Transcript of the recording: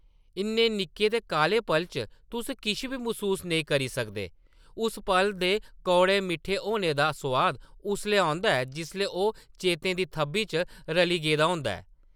इन्ने निक्के ते काह्ले पल च तुस किश बी मसूस नेईं करी सकदे, उस पल दे कौड़े-मिट्ठे होने दा सोआद उसलै औंदा ऐ जिसलै ओह् चेतें दी थʼब्बी च रली गेदा होंदा ऐ।